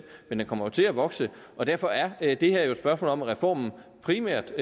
men den kommer jo til at vokse og derfor er det her jo et spørgsmål om at reformen primært